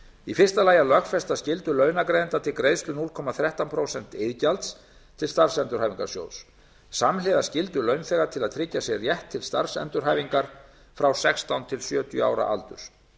í fyrsta lagi að lögfesta skyldu launagreiðenda til greiðslu núll komma þrettán prósent iðgjalds til starfsendurhæfingarsjóðs samhliða skyldu launþega til að tryggja sér rétt til starfsendurhæfingar frá sextán til sjötíu ára aldurs